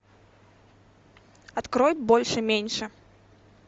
открой больше меньше